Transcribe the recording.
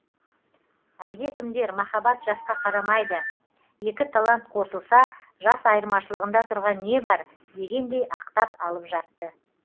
әлде кімдер махаббат жасқа қарамайды екі талант қосылса жас айырмашылығында тұрған не бар дегендей ақтап алып жатты